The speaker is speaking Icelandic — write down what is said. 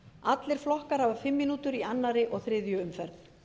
allir flokkar hafa fimm mínútur í öðru og þriðju umferð